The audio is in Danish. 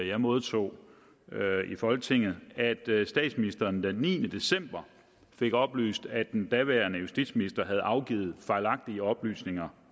jeg modtog i folketinget at statsministeren den niende december fik oplyst at den daværende justitsminister havde afgivet fejlagtige oplysninger